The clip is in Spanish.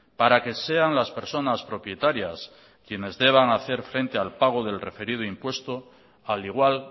para que sean las personas propietarias quienes deban hacer frente al pago del referido impuesto al igual